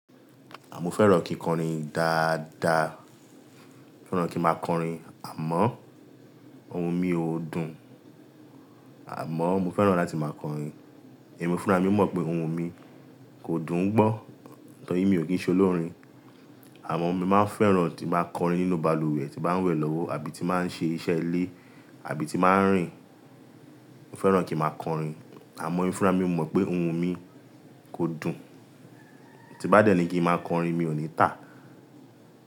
À mó fẹ́ràn kí n kọrin dáadáa. Mo fẹ́ràn kí n máa kọrin àmọ́ ohun mi ò dùn. Àmọ́ mo fẹ́ràn láti máa kọrin. Ẹ̀mi fúnra mí mọ̀ pé ohun mi kò dùn un gbọ́, torí mi ò kí ń ṣ'olórin. Àmọ́ mo máa ń fẹ́ràn tí máa ń kọrin nínú balùwẹ̀ tí bá ń wẹ̀ lọ́wọ́ àbí tí màá ń ṣe iṣẹ́ ilé, àbí tí màá ń rìn. Mo fẹ́ràn kí máa kọrin àmọ́ emi fúnra mí mọ̀ pé ohun mi kò dùn. Ti n bá dẹ́ ni kí n máa kọrin mi ò ní tà.